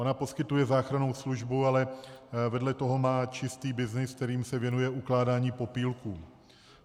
Ona poskytuje záchrannou službu, ale vedle toho má čistý byznys, kterým se věnuje ukládání popílků.